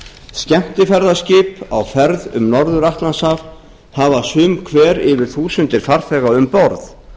skemmtiferðaskip á ferð um norður atlantshaf hafa sum hver yfir þúsundir farþega um borð